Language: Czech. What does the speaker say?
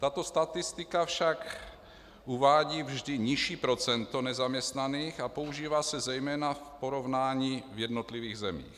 Tato statistika však uvádí vždy nižší procento nezaměstnaných a používá se zejména v porovnání v jednotlivých zemích.